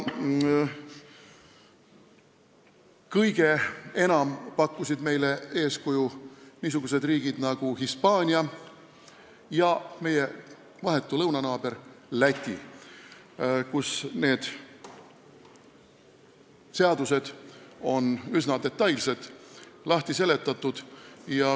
Kõige enam pakkusid meile eeskuju niisugused riigid nagu Hispaania ja meie vahetu lõunanaaber Läti, kus need seadused on üsna detailsed, asi on lahti seletatud.